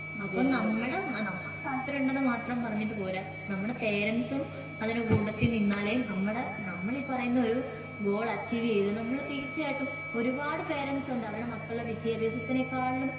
അപ്പൊ നമ്മുടെ നമ്മുടെ താല്പര്യം ഉണ്ടെന്ന് മാത്രം പറഞ്ഞിട്ട് പോരാ നമ്മുടെ പേരൻസും അതിൻ്റെ കൂട്ടത്തിൽ നിന്നാലേ നമ്മടെ നമ്മൾ ഈ പറയുന്ന ഒരു ഗോൾ അച്ചീവ് ചെയ്ത് നമ്മൾ തീർച്ചയായിട്ടും ഒരുപാട് പേരെൻസുണ്ട് അവരുടെ മക്കളുടെ വിദ്യാഭ്യാസത്തിനെക്കാളിലും